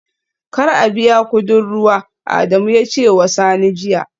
Kar a biya kudin ruwa, Adamu ya ce wa Sani jiya